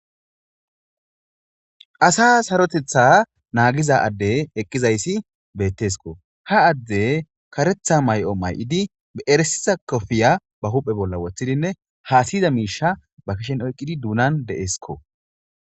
asa sarotetha naagiza adde eqqizayssi beettesko ha adde karetha may7o may7idi beeresiza kofiya ba huphe bolla woththidinne haasiyiza miisha ba kishen oyqqidi duunan de7eskko